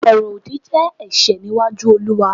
oro odi je ẹ̀ṣẹ̀ níwájú Oluwa